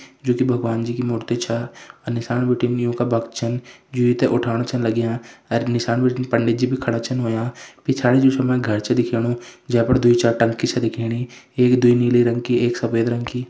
जु कि भगवान जी की मूर्ती छा अर निसान बटिन यूँका भक्त छन जु यी थे उठाण छन लग्यां अर निसान बटिन पंडित जी भी खड़ा छन हुंया पिछाड़ी जु छ मै घर छ दिखेणु जेफण द्वी चार टंकी छ दिखेणी एक द्वी नीले रंग की एक सफ़ेद रंग की।